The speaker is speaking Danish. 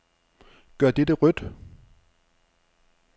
Gør dette rødt.